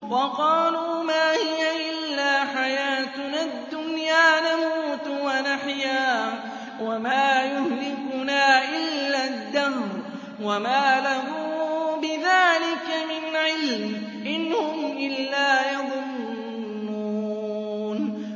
وَقَالُوا مَا هِيَ إِلَّا حَيَاتُنَا الدُّنْيَا نَمُوتُ وَنَحْيَا وَمَا يُهْلِكُنَا إِلَّا الدَّهْرُ ۚ وَمَا لَهُم بِذَٰلِكَ مِنْ عِلْمٍ ۖ إِنْ هُمْ إِلَّا يَظُنُّونَ